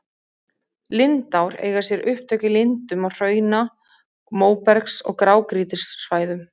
Lindár eiga sér upptök í lindum á hrauna-, móbergs- og grágrýtissvæðum.